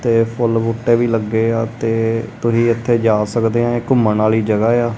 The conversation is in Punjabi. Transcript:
ਤੇ ਫੁੱਲ ਬੂਟੇ ਵੀ ਲੱਗੇ ਆ ਤੇ ਤੁਹੀ ਇੱਥੇ ਜਾ ਸਕਦੇ ਆਂ ਘੁੰਮਣ ਆਲੀ ਜਗ੍ਹਾ ਏ ਆ।